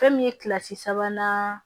Fɛn min ye kilasi sabanan